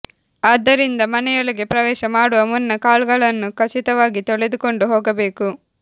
ಆದ್ದರಿಂದ ಮನೆಯೊಳಗೆ ಪ್ರವೇಶ ಮಾಡುವ ಮುನ್ನ ಕಾಲುಗಳನ್ನು ಖಚಿತವಾಗಿ ತೊಳೆದುಕೊಂಡು ಹೋಗಬೇಕು